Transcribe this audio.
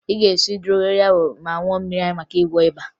Ị ga-esi dogoyaro ma ṅụọ mmiri ya maka ịgwọ ịba